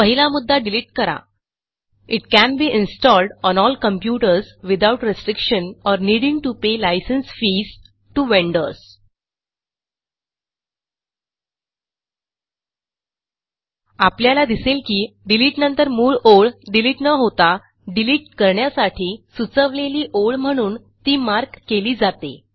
पहिला मुद्दा डिलिट करा it can be installed on all computers without restriction or needing to pay licence fees to vendors आपल्याला दिसेल की डिलिटनंतर मूळ ओळ डिलिट न होता डिलिट करण्यासाठी सुचवलेली ओळ म्हणून ती मार्क केली जाते